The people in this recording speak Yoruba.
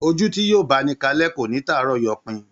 Ojú tí yóò bá ni kalẹ́ kò ní tàárọ̀ yọpin